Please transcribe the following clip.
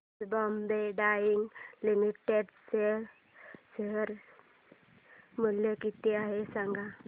आज Bombay dyeing limited चे share मूल्य किती आहे सांगा